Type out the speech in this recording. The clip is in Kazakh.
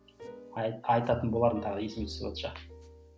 айтатын болармын тағы есіме түсіватса